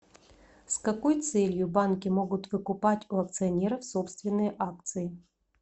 с какой целью банки могут выкупать у акционеров собственные акции